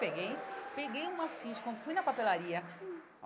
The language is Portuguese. Peguei, peguei uma ficha, com fui na papelaria.